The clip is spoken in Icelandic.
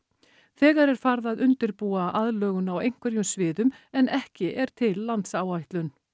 þegar er farið að undirbúa aðlögun á einhverjum sviðum en ekki er til landsáætlun